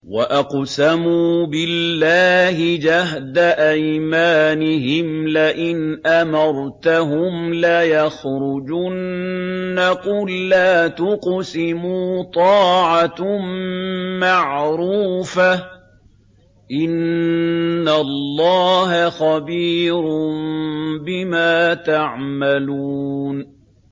۞ وَأَقْسَمُوا بِاللَّهِ جَهْدَ أَيْمَانِهِمْ لَئِنْ أَمَرْتَهُمْ لَيَخْرُجُنَّ ۖ قُل لَّا تُقْسِمُوا ۖ طَاعَةٌ مَّعْرُوفَةٌ ۚ إِنَّ اللَّهَ خَبِيرٌ بِمَا تَعْمَلُونَ